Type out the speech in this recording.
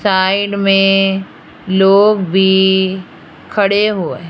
side में लोग भी खड़े हुए--